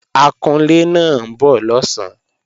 Akunlé náà ń bọ̀ lọ̀sán